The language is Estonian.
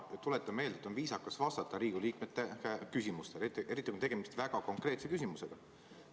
Ma tuletan meelde, et on viisakas vastata Riigikogu liikmete küsimustele, eriti kui on tegemist väga konkreetse küsimusega.